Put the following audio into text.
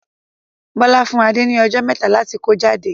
Bọlá fún Adé ni ọjọ́ mẹta láti kó jáde.